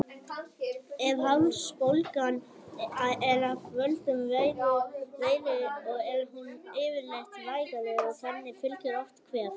Ef hálsbólgan er af völdum veiru er hún yfirleitt vægari og henni fylgir oft kvef.